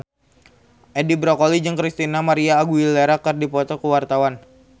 Edi Brokoli jeung Christina María Aguilera keur dipoto ku wartawan